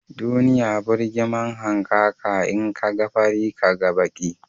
Duniya burgima hankaka, in ka ga fari, Ka ga baki